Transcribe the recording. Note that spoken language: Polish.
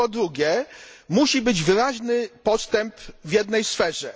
Po drugie, musi być wyraźny postęp w jednej sferze.